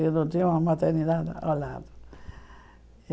Eu não tinha uma maternidade ao lado.